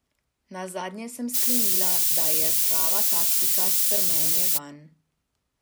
Nazadnje sem sklenila, da je prava taktika strmenje vanj.